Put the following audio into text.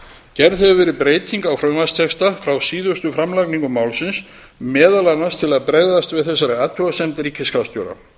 hefur verið breyting á frumvarpstexta frá síðustu framlagningu málsins meðal annars til að bregðast við þessari athugasemd ríkisskattstjóra